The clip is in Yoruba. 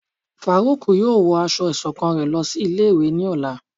Faruk yóò wọ asọ iṣọkan rẹ lòsí ilé ìwé ní Ọla